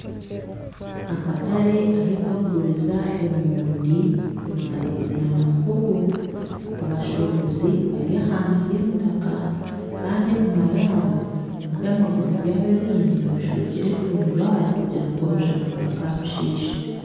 Akatare ahu bakuguriza emoondi ebitakuri nana muhogo abashuubuzi bari ahansi y'emitaka Kandi enyuma yaabo omu by'amaguzi byabo ebindi babishwekire entundubaare kugira ngu omushana gutakabishiisha